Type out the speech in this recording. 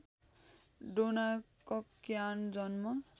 डोना कक्कायन जन्म